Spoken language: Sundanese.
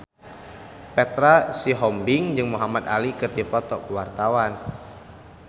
Petra Sihombing jeung Muhamad Ali keur dipoto ku wartawan